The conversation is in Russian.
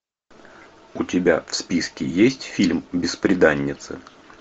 у тебя в списке есть фильм бесприданница